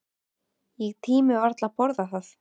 Ég tími varla að borða það.